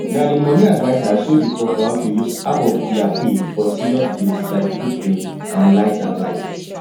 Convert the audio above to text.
na the money adviser show the couple how to use half of their pay for serious bills like food rent and light and light